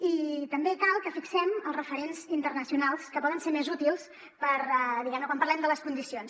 i també cal que fixem els referents internacionals que poden ser més útils per diguem ne quan parlem de les condicions